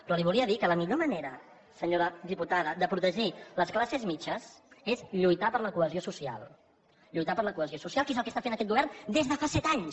però li volia dir que la millor manera senyora diputada de protegir les classes mitjanes és lluitar per la cohesió social que és el que està fent aquest govern des de fa set anys